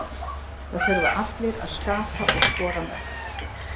Það þurfa allir að skapa og skora mörk.